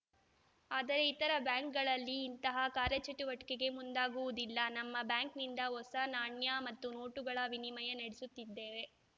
ಆದರೆ ಇತರೆ ಬ್ಯಾಂಕ್‌ಗಳಲ್ಲಿ ಇಂತಹ ಕಾರ್ಯಚಟುವಟಿಕೆಗೆ ಮುಂದಾಗುವುದಿಲ್ಲ ನಮ್ಮ ಬ್ಯಾಂಕ್‌ನಿಂದ ಹೊಸ ನಾಣ್ಯ ಮತ್ತು ನೋಟುಗಳ ವಿನಿಮಯ ನಡೆಸುತ್ತಿದ್ದೇವೆ